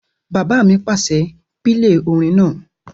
Bàbá mi pàṣẹ, "pílè orin náà!"